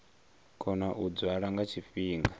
kona u dzwala nga tshifhinga